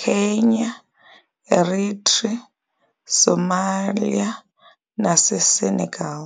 Kenya, Eritrea, Somalia naseSenegal.